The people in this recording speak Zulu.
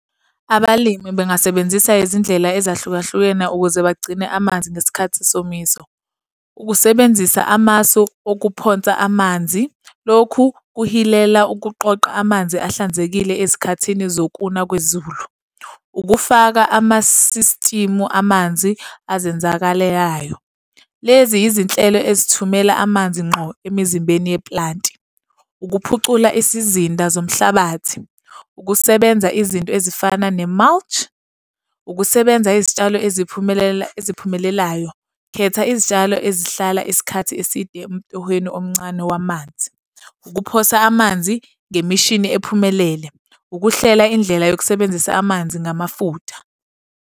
Abalimi bengasebenzisa izindlela ezahlukahlukene ukuze bagcine amanzi ngesikhathi sesomiso. Ukusebenzisa amasu okuphonsa amanzi. Lokhu kuhilela ukuqoqa amanzi ahlanzekile ezikhathini zokuna kwezulu. Ukufaka ama-system-u amanzi azenzakalelayo. Lezi izinhlelo ezithumela amanzi ngqo emizimbeni yeplanti. Ukuphucula isizinda zomhlabathi, ukusebenza izinto ezifana ne-mulch. Ukusebenza izitshalo eziphumelelayo. Khetha izitshalo ezihlala isikhathi eside emtohweni omncane wamanzi. Ukuphosa amanzi ngemishini ephumelele. Ukuhlela indlela yokusebenzisa amanzi ngamafutha.